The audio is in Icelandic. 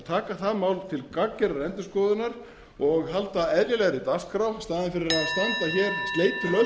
taka það mál til gagngerðrar endurskoðunar og halda eðlilegri dagskrá í staðinn fyrir